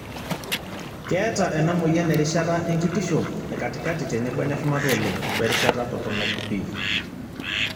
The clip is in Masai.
keeta ena moyian erishata enkitisho, ekatikati tenebo eneshumata oleng' werishata toronok pii.